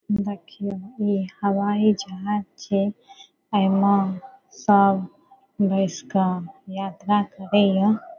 देखिओ इ हवाई जहाज छे एइमा सब बइस क यात्रा करइ या।